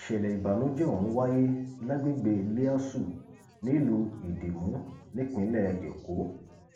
ìṣẹlẹ ìbànújẹ ọhún wáyé lágbègbè líásù nílùú ìdìmú nípínlẹ èkó